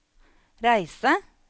reise